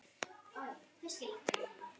Límið sem festi allt saman.